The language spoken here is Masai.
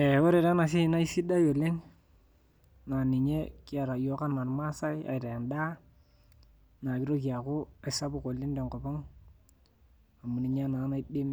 Eeh ore taa enasiai naa isidai oleng naa ninye kiata iyiok anaa irmaasae aitaa endaa naa kitoki aaku aisapuk oleng tenkop ang amu ninye naa naidim